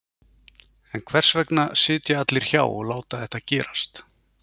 En hvers vegna sitja allir hjá og láta þetta gerast?